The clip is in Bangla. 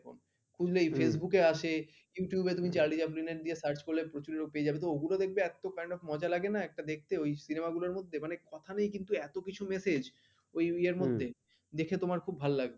youtube বে তুমি charlie chaplin র দিয়ে search করলে প্রচুর ইয়ে পেয়ে যাবে তো ওগুলো দেখতে এত kind of মজা লাগে না দেখতে একটা দেখতে ওই cinema গুলোর মধ্যে মানে কথা নেই কিন্তু এতকিছু message ওই এর মধ্যে দেখে তোমার খুব ভালো লাগবে